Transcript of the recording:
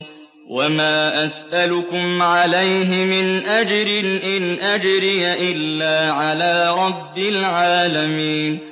وَمَا أَسْأَلُكُمْ عَلَيْهِ مِنْ أَجْرٍ ۖ إِنْ أَجْرِيَ إِلَّا عَلَىٰ رَبِّ الْعَالَمِينَ